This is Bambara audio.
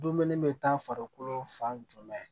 Dumuni bɛ taa farikolo fan jumɛn